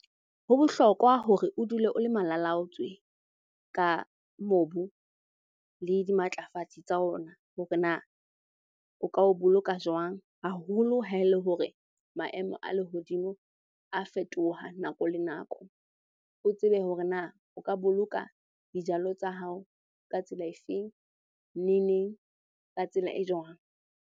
Ho bohlokwa hore o dule o le malalaotswe ka mobu le dimatlafatsi sa ona, hore na o ka o boloka jwang? Haholo ha ele hore maemo a lehodimo a fetoha nako le nako. O tsebe hore na o ka boloka dijalo tsa hao ka tsela efeng? Ne neng? Ka tsela e jwang?